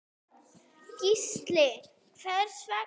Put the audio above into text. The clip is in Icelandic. Gísli: Hvers vegna?